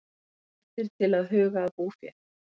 Hvattir til að huga að búfé